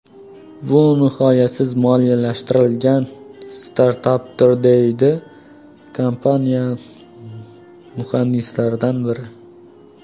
Bu nihoyasiz moliyalashtiriladigan startapdir”, deydi kompaniya muhandislaridan biri.